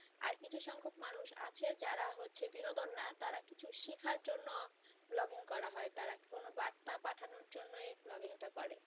আর কিছু সংখ্যক মানুষ আছে যারা হচ্ছে বিনোদন না তারা কিছু শিক্ষার জন্য vlogging করা হয় তারা কোনো বার্তা পাঠানোর জন্য এই vlogging টা করে